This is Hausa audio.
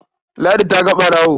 Ladi ta ga ɓarawon.